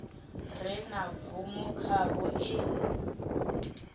re na bvumo khavho i